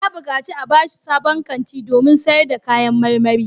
Ya buƙaci a ba shi sabon kanti domin sayar da kayan marmari.